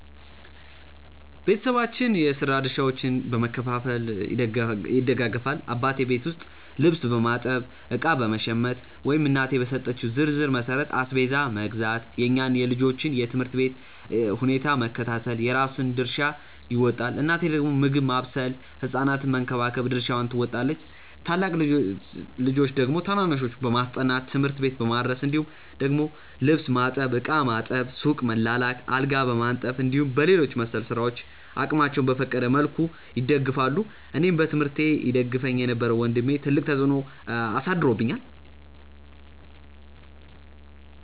ቤተሰባችን የስራ ድርሻዎችን በመከፋፈል ይደጋገፋል። አባቴ ቤት ውስጥ ልብስ በማጠብ፣ እቃ በመሸመት ወይም እናቴ በሰጠችው ዝርዝር መሠረት አስቤዛ መግዛት፣ የእኛን የልጆቹን የ ትምህርት ሁኔታ በመከታተል የራሱን ድርሻ ይወጣል። እናቴ ደግሞ ምግብ ማብሰል ህ ሕፃናቱን በመንከባከብ ድርሻዋን ትወጣለች። ታላቅ ልጆች ደግሞ ታናናሾችን በማስጠናት፣ ትምህርት ቤት በማድረስ እንዲሁም ደግሞ ልብስ ማጠብ፣ ዕቃ ማጠብ፣ ሱቅ መላላክ፣ አልጋ በማንጠፍ እንዲሁም በሌሎች መሰል ስራዎች አቅማቸው በፈቀደ መልኩ ይደግፋሉ። አኔን በትምህርቴ ይደግፈኝ የነበረው ወንድሜ ትልቅ ተፅዕኖ አሳድሮብኛል።